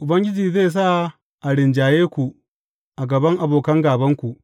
Ubangiji zai sa a rinjaye ku a gaban abokan gābanku.